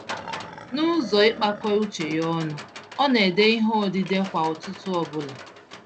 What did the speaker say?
Nụzọ ịkpakọ uche ya ọnụ, ọ n'édè ìhè odide kwá ụtụtụ ọbula.